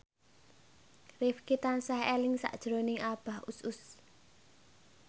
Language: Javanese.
Rifqi tansah eling sakjroning Abah Us Us